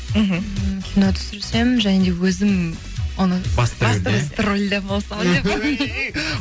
мхм м кино түсірсем және өзім оны басты роль басты рольде болсам деп па